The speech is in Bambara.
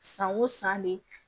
San o san de